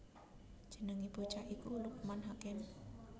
Jenengé bocah iku Lukman Hakim